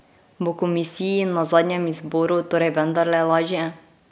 Bo komisiji na zadnjem izboru torej vendarle lažje?